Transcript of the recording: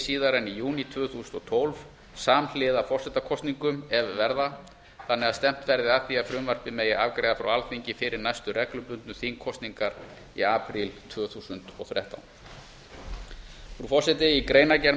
síðar en í júní tvö þúsund og tólf samhliða forsetakosningum ef verða þannig að stefnt verði að því að frumvarpið megi afgreiða frá alþingi fyrir næstu reglubundnu þingkosningar í apríl tvö þúsund og þrettán frú forseti í greinargerð